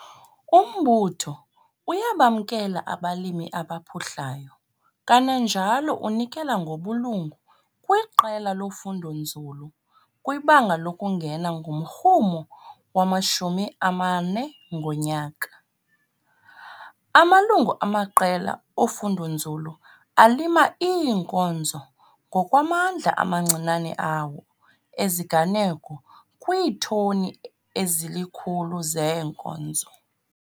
Umbutho uyabamkela abalimi abaphuhlayo kananjalo unikela ngobulungu kwiqela lofundonzulu kwibanga lokungena ngomrhumo wama-R40,00 ngonyaka. Amalungu amaqela ofundonzulu alima iinkozo ngokwamandla amancinane awo ezinganeno kwiitoni ezili-100 zeenkozo.